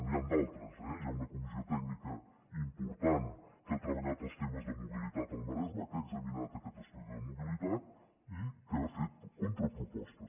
n’hi han d’altres eh hi ha una comissió tècnica important que ha treballat els temes de mobilitat al maresme que ha examinat aquest estudi de mobilitat i que ha fet contrapropostes